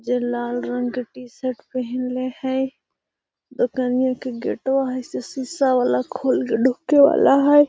जे लाल रंग के टी-शर्ट पहिनले हई | दोकानिया के गेटवा हई से सीसा वाला खोल के ढुके वाला हई |